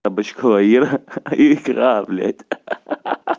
кабачковая ира икра блять ха ха ха ха ха